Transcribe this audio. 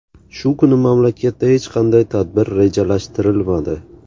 Shu kuni mamlakatda hech qanday tadbir rejalashtirilmadi.